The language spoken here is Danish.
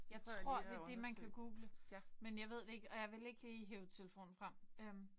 Jeg tror det er det man kan google men jeg ved det ikke og jeg vil ikke lige hive telefonen frem øh